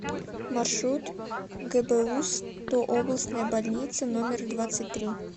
маршрут гбуз то областная больница номер двадцать три